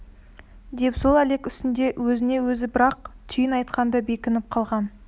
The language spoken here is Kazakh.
деп сол әлек үстінде өзіне өзі бір-ақ түйін айтқан да бекініп қалған